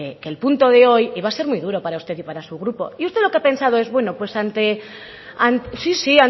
que el punto de hoy iba a ser muy dura para usted y para su grupo y usted lo que ha pensado es bueno ante sí sí